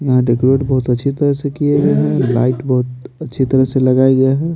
यहाँ डेकोरेट बहुत अच्छी तरह से किए गए हैं लाइट बहुत अच्छी तरह से लगाया गया है।